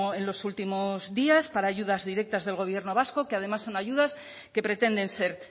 en los últimos días para ayudas directas del gobierno vasco que además son ayudas que pretenden ser